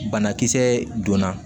Banakisɛ donna